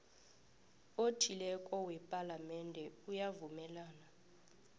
othileko wepalamende uyavumelana